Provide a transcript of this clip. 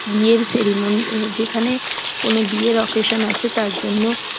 বিয়ের সিরিমনি এবং যেখানে কোন বিয়ের অকেশন আছে তার জন্য ।